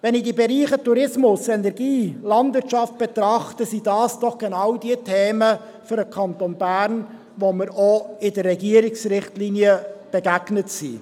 Wenn ich die Bereiche Tourismus, Energie und Landwirtschaft betrachte, sind das doch genau diejenigen Themen für den Kanton Bern, denen wir auch in den Regierungsrichtlinien begegnet sind.